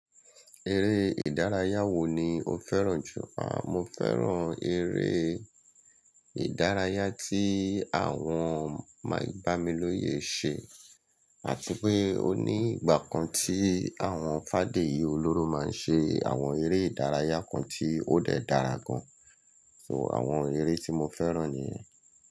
Eré ìdárayá wo ni o fẹ́ràn jù? À, mo fẹ́ràn eré ìdárayá tí àwọn mà-gbamiloye ṣe, àti pé o ní ìgbà kan tí àwọn fádeyí olóró máa ń ṣe àwọn eré ìdárayá kan tí ó dẹ dara gan. So àwọn eré tí mo fẹ́ràn nìyẹn.